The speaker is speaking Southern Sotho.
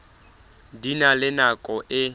di na le nako e